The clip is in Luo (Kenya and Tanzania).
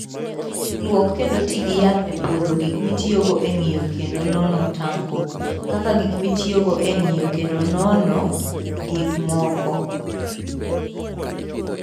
Lwok kendo ti gi yath e pwodho gik mitiyogo e ng'iyo kendo nono tanko, kaka gik mitiyogo e ng'iyo kendo nono kendo nono kendo nono gik moko.